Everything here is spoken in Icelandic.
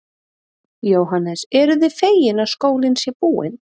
Jóhannes: Eruð þið fegin að skólinn sé búinn?